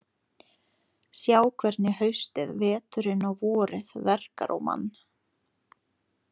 Sjá hvernig haustið, veturinn og vorið verkar á mann.